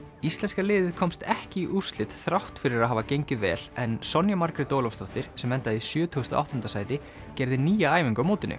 íslenska liðið komst ekki í úrslit þrátt fyrir að hafa gengið vel en Sonja Margrét Ólafsdóttir sem endaði í sjötugasta og áttunda sæti gerði nýja æfingu á mótinu